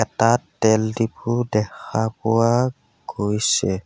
তাত তেল ডিপো দেখা পোৱা গৈছে।